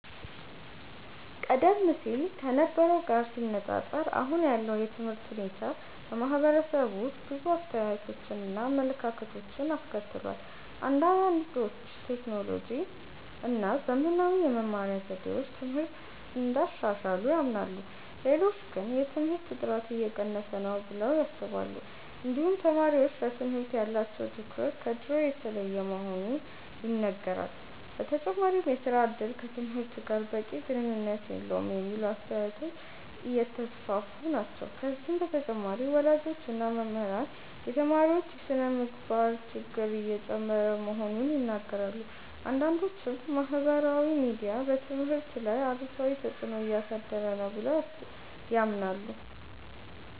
ቀደም ሲል ከነበረው ጋር ሲነፃፀር አሁን ያለው የትምህርት ሁኔታ በማህበረሰቡ ውስጥ ብዙ አስተያየቶችን እና አመለካከቶችን አስከትሏል። አንዳንዶች ቴክኖሎጂ እና ዘመናዊ የመማሪያ ዘዴዎች ትምህርትን እንዳሻሻሉ ያምናሉ። ሌሎች ግን የትምህርት ጥራት እየቀነሰ ነው ብለው ያስባሉ። እንዲሁም ተማሪዎች ለትምህርት ያላቸው ትኩረት ከድሮ የተለየ መሆኑ ይነገራል። በተጨማሪም የሥራ እድል ከትምህርት ጋር በቂ ግንኙነት የለውም የሚሉ አስተያየቶች እየተስፋፉ ናቸው። ከዚህ በተጨማሪ ወላጆች እና መምህራን የተማሪዎች የስነ-ምግባር ችግር እየጨመረ መሆኑን ይናገራሉ። አንዳንዶችም ማህበራዊ ሚዲያ በትምህርት ላይ አሉታዊ ተፅዕኖ እያሳደረ ነው ብለው ያምናሉ።